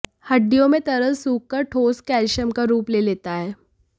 हड्डियों में तरल सूखकर ठोस कैल्शियम का रूप ले लेता है